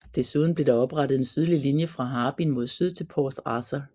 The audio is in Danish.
Desuden blev der oprettet en sydlig linje fra Harbin mod syd til Port Arthur